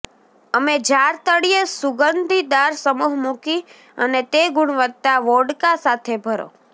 અમે જાર તળિયે સુગંધીદાર સમૂહ મૂકી અને તે ગુણવત્તા વોડકા સાથે ભરો